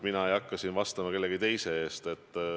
Ma ei hakka siin vastama kellegi teise eest.